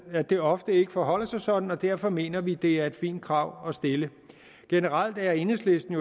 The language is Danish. at det ofte ikke forholder sig sådan og derfor mener vi det er et fint krav at stille generelt er enhedslisten